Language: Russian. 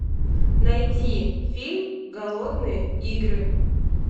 найди фильм голодные игры